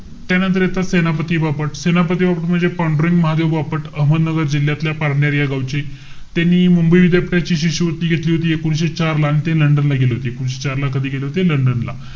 त्यानंतर येतात ते, सेनापती बापट. सेनापती बापट म्हणजे पांडुरंग महादेव बापट. अहमदनगर जिल्ह्यातल्या पारनेर या गावचे. त्यांनी, मुंबई विद्यापीठाची शिष्यवृत्ती घेतली होती एकोणीशे चारला. आणि ते लंडन ला गेले होते. एकोणीशे चार ला कधी गेले होते? लंडन ला.